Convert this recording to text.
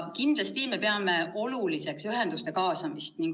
Kindlasti peame oluliseks ühenduste kaasamist.